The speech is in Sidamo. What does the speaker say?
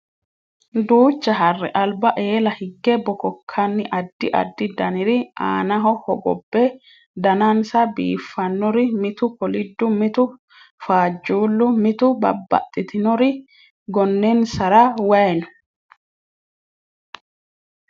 Duucha harre alba eela hige bobakani adi adi daniri aanaho hogobe danansa biifanori mitu kolidu mitu faajullu mitu babaxitinori gonensara wayi no.